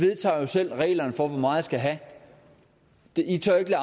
i vedtager jo selv reglerne for hvor meget i skal have i tør ikke